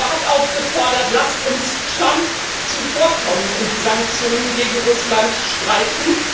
Er hat aufgefordert Lasst uns Trump zuvorkommen und die Sanktionen gegen Russland streichen.